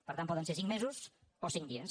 per tant poden ser cinc mesos o cinc dies